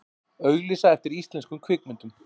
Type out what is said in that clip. Auglýsa eftir íslenskum kvikmyndum